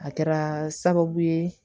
A kɛra sababu ye